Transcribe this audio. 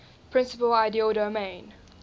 principal ideal domain